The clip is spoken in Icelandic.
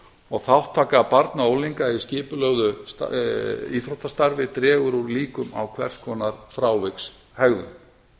og þátttaka barna og unglinga í skipulögðu íþróttastarfi dregur úr hinum á hvers konar frávikshegðun